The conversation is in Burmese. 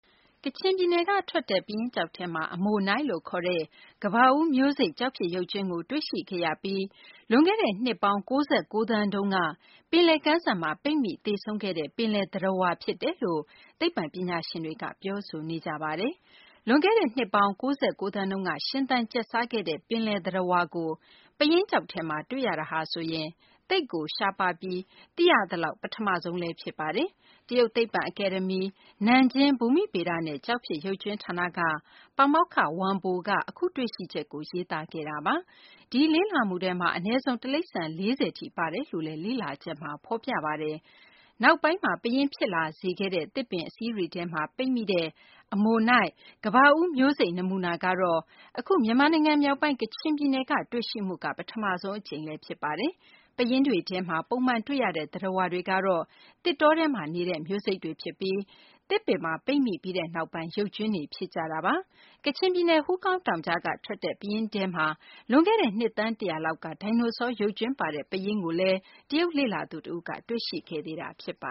ကချင်ပြည်နယ်က ထွက်တဲ့ ပယင်းကျောက်ထဲမှာ Ammonite အမိုနိုက်လို့ ခေါ်တဲ့ ကမ္ဘာဦးက ရေသတ္တဝါ တမျိုးဖြစ်တဲ့ ခရုမျိုးစိတ် ကျောက်ဖြစ်ရုပ်ကြွင်းကို တွေ့ရှိခဲ့ရပြီး လွန်ခဲ့တဲ့ နှစ်ပေါင်း ၉၉ သန်းတုန်းက ပင်လယ်ကမ်းစပ်မှာ ပိတ်မိပြီး သေဆုံးခဲ့တဲ့ ပင်လယ် သတ္တဝါ ဖြစ်တယ်လို့ သိပ္ပံပညာရှင်တွေက ပြောဆိုကြပါတယ်။ လွန်ခဲ့တဲ့ နှစ်ပေါင်း ၉၉ သန်းတုန်းက ရှင်သန်ကျက်စားခဲ့တဲ့ ပင်လယ်သတ္တဝါကို ပယင်းကျောက်ထဲမှာ တွေ့ရတာဟာဆိုရင် သိပ်ကို ရှားပါးပြီး သိရသလောက် ပထမဆုံးလည်း ဖြစ်ပါတယ်။ တရုတ် သိပ္ပံအကယ်ဒမီ ၊ နန်ဂျင်း ဘူမိဗေဒနဲ့ ကျောက်ဖြစ်ရုပ်ကြွင်း ဌာနက ပါမောက္ခ Wang Bo က အခု တွေ့ရှိချက်ကို ရေးသားခဲ့တာပါ။ ဒီလေ့လာမှုထဲမှာ အနည်းဆုံး တိရိစ္ဆာန် ၄၀ ထိပါတယ်လို့လည်း လေ့လာချက်မှာ ဖော်ပြထားပါတယ်။ နောက်ပိုင်းမှာ ပယင်းဖြစ်လာစေခဲ့တဲ့ သစ်ပင် အစေး ထဲမှာ ပိတ်မိတဲ့ အမိုနိုက် - ကမ္ဘာဦး မျိုးစိတ် နမူနာကတော့ အခု မြန်မာနိုင်ငံ မြောက်ပိုင်း ကချင်ပြည်နယ်က တွေ့ရှိမှုက ပထမဆုံး အကြိမ် ဖြစ်ပါတယ်။ ပယင်းတွေထဲမှာ ပုံမှန်တွေ့ရတဲ့ သတ္တဝါတွေကတော့ သစ်တောထဲမှာ နေတဲ့ မျိုးစိတ်တွေ ဖြစ်ပြီး သစ်ပင်မှာ ပိတ်မိပြီးနောက်ပိုင်း ရုပ်ကြွင်းဖြစ်ကြတာတွေပါ။ ကချင်ပြည်နယ် ဟူးကောင်းတောင်ကြားက ထွက်တဲ့ ပယင်းထဲမှာ လွန်ခဲ့တဲ့ နှစ်သန်း ၁၀၀ လောက်က ဒိုင်နိုဆော ရုပ်ကြွင်းပါတဲ့ ပယင်းကို တရုတ် လေ့လာသူ တဦးက တွေ့ရှိခဲ့သေးတာ ဖြစ်ပ